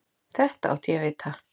Þetta átti ég að vita!